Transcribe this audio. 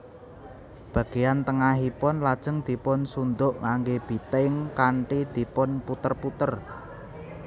Bageyan tengahipun lajeng dipun sunduk nganggé biting kanthi dipun puter puter